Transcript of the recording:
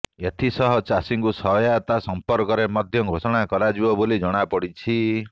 ଏଥିସହ ଚାଷୀଙ୍କୁ ସହାୟତା ସମ୍ପର୍କରେ ମଧ୍ୟ ଘୋଷଣା କରାଯିବ ବୋଲି ଜଣାପଡ଼ିଛି